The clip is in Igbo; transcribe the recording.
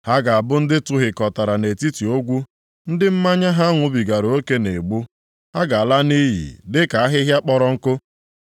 Ha ga-abụ ndị a tụhịkọtara nʼetiti ogwu, ndị mmanya ha ṅụbigara oke na-egbu, ha ga-ala nʼiyi dịka ahịhịa kpọrọ nkụ.